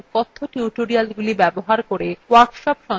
কথ্য tutorialsগুলি ব্যবহার করে workshop সঞ্চালন করে